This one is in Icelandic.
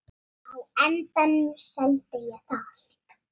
Á endanum seldi ég það.